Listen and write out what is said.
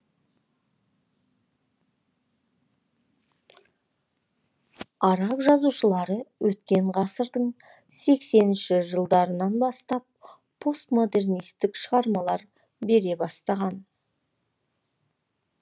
араб жазушылары өткен ғасырдың сексенінші жылдарынан бастап постмодернистік шығармалар бере бастаған